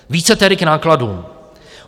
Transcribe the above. Více tedy k nákladům.